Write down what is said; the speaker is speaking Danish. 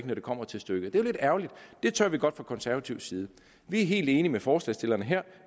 når det kommer til stykket det er jo lidt ærgerligt det tør vi godt fra konservativ side vi er helt enige med forslagsstillerne her